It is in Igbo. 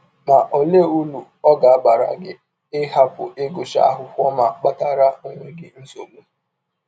Ma, ọlee ụrụ ọ ga - abara gị ịhapụ ịgụcha akwụkwọ ma kpatara ọnwe gị nsọgbụ?